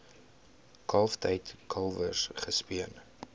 kalftyd kalwers gespeen